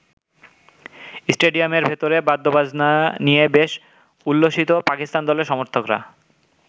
স্টেডিয়ামের ভেতরে বাদ্যবাজনা নিয়ে বেশ উল্লসিত পাকিস্তান দলের সমর্থকরা।